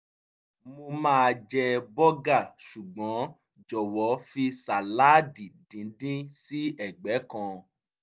mo máa jẹ bọ́gà ṣùgbọ́n jọ̀wọ́ fi sàláàdì díndín sí ẹ̀gbẹ́ kan